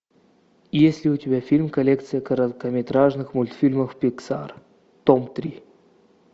есть ли у тебя фильм коллекция короткометражных мультфильмов пиксар том три